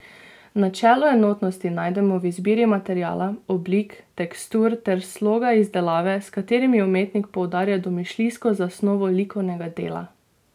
Načelo enotnosti najdemo v izbiri materiala, oblik, tekstur ter sloga izdelave, s katerimi umetnik poudarja domišljijsko zasnovo likovnega dela.